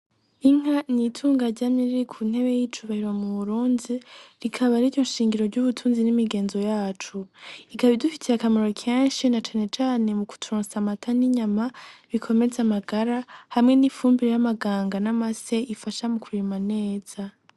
Inka nitunga ryamye riri ku ntebe y'icubahiro mu Burundi, rikaba ariryo nshingiro ry'ubutunzi n'imigenzo yacu , rikaba ridufitiye akamaro kenshi na canecane mu kuturosa amata n'inyama bikomeze amagara hamwe n'ifumbire y'amaganga n'amase ifasha mu kurima neza.